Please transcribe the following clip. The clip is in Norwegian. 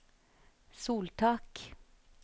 soltak